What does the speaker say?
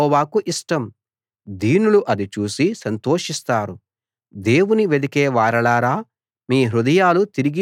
దీనులు అది చూసి సంతోషిస్తారు దేవుని వెదికేవారలారా మీ హృదయాలు తిరిగి బ్రతుకు గాక